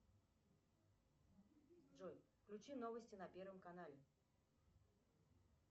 джой включи новости на первом канале